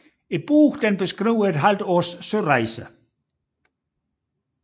Bogen beskriver et halvt års sørejse